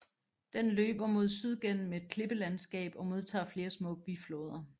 Den løber mod syd gennem et klippelandskab og modtager flere små bifloder